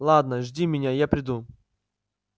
ладно жди меня и я приду